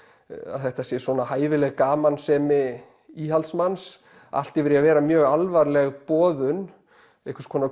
að þetta sé svona hæfileg gamansemi íhaldsmanns allt yfir í að vera mjög alvarleg boðun einhvers konar